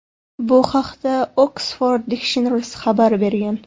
Bu haqda Oxford Dictionaries xabar bergan .